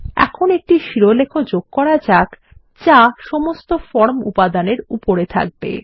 এখন একটি শিরোলেখ লেখা যাক যা সমস্ত ফর্ম উপাদানের উপরে থাকবে